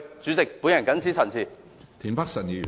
主席，我謹此陳辭。